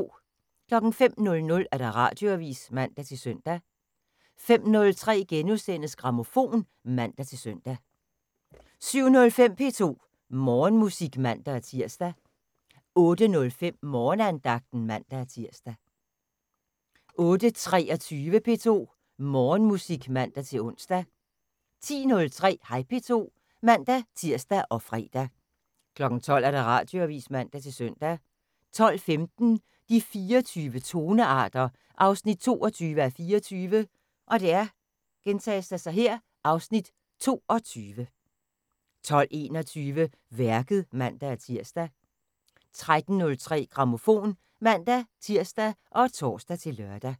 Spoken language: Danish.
05:00: Radioavis (man-søn) 05:03: Grammofon *(man-søn) 07:05: P2 Morgenmusik (man-tir) 08:05: Morgenandagten (man-tir) 08:23: P2 Morgenmusik (man-ons) 10:03: Hej P2 (man-tir og fre) 12:00: Radioavis (man-søn) 12:15: De 24 tonearter 22:24 (Afs. 22) 12:21: Værket (man-tir) 13:03: Grammofon (man-tir og tor-lør)